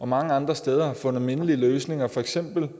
mange andre steder har fundet mindelige løsninger for eksempel